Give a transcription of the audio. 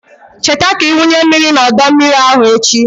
Cheta ka ị wunye mmiri n'ọdọ mmiri ahụ echi.